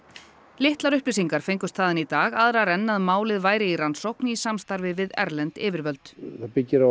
litlar upplýsingar fengust þaðan í dag aðrar en að málið væri í rannsókn í samstarfi við erlend yfirvöld það byggir á